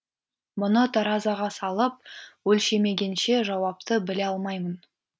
мұны таразыға салып өлшемегенше жауапты біле алмаймын